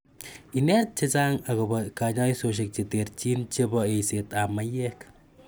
Inet g che chang' akopa kanyaishoshek chertin chebo eisetap maiyek